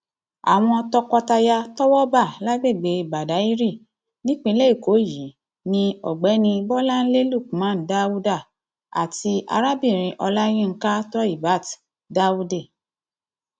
àwọn tọkọtaya tọwọ bá lágbègbè badáyrì nípìnlẹ èkó yìí ní ọgbẹni bolanlé lookman dauda àti arábìnrin olayinka toheebat daude